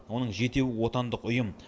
оның жетеуі отандық ұйым